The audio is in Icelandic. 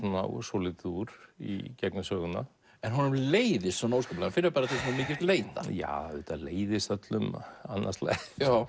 svolítið úr í gegnum söguna en honum leiðist svona óskaplega finnur til svona mikils leiða já auðvitað leiðist öllum annað slagið